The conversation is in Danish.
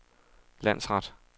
landsret